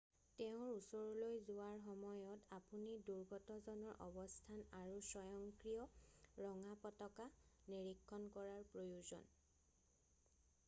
"তেওঁৰ ওচৰলৈ যোৱাৰ সময়ত আপুনি দুৰ্গতজনৰ অৱস্থান আৰু স্বয়ংক্ৰিয় ৰঙা পতাকা নিৰীক্ষণ কৰাৰ প্ৰয়োজন। "